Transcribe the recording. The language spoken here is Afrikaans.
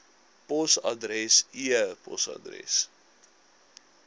posadres e posadres